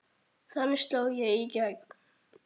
Þannig sló ég í gegn.